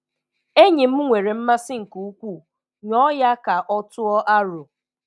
Enyi m nwere mmasị nke ukwuu, nyọ ya ka o tụọ aro.